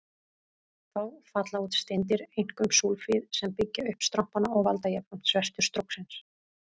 Þá falla út steindir, einkum súlfíð, sem byggja upp strompana og valda jafnframt svertu stróksins.